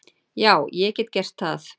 Já, ég get gert það.